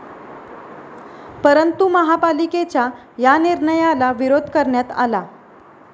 परंतु महापालिकेच्या या निर्णयाला विरोध करण्यात आला.